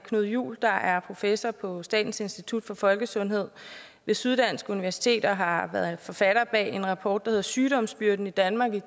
knud juel der er professor på statens institut for folkesundhed ved syddansk universitet og som har været forfatter på en rapport der hedder sygdomsbyrden i danmark i